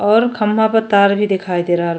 और खंभा पर तार भी दिखयी दे रहल --